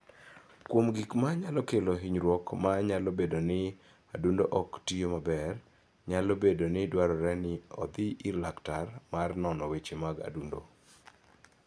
Kuom gik ma nyalo kelo hinyruok ma nyalo bedo ni adundo ok tiyo maber, nyalo bedo ni dwarore ni odhi ir laktar ma nono weche mag adundo.